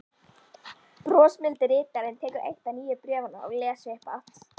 Brosmildi ritarinn tekur eitt nýju bréfanna og les upphátt: